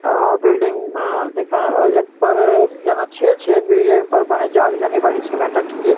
आ building म दिख्याण और यख पर जन छेद-छेद भी ये पर बण्या जाली जण नी बणी सिमेंट की।